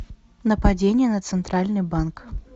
нападение на центральный банк